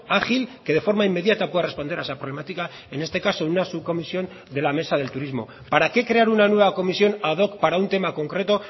ágil que de forma inmediata pueda responder a esa problemática en este caso en una subcomisión de la mesa del turismo para qué crear una nueva comisión ad hoc para un tema concreto